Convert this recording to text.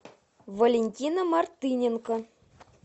валентина мартыненко